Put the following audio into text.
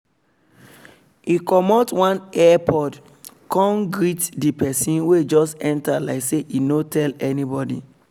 e comot one earbud cone greet the person wey just enter like say e no tell anybody